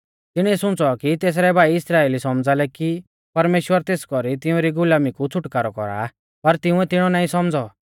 तिणीऐ सुंच़ौ कि तेसरै भाई इस्राइली सौमझ़ा लै कि परमेश्‍वर तेस कौरी तिउंरी गुलामी कु छ़ुटकारौ कौरा आ पर तिंउऐ तिणौ नाईं सौमझ़ौ